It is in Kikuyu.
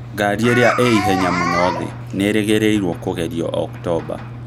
Ngari ĩrĩa ĩ ihenya mũno thĩ nĩĩrĩrĩgĩreruo kũgerio Oktomba